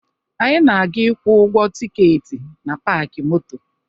Anyị na-aga ịkwụ ụgwọ tikeeti na paakị moto